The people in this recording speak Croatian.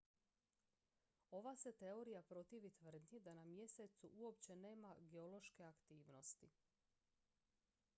ova se teorija protivi tvrdnji da na mjesecu uopće nema geološke aktivnosti